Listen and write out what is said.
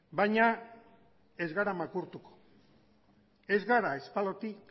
baina ez gara makurtuko ez gara espaloitik